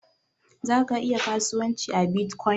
Ka iya kasuwanci a Bitcoin?